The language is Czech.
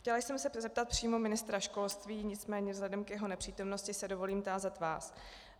Chtěla jsem se zeptat přímo ministra školství, nicméně vzhledem k jeho nepřítomnosti se dovolím tázat vás.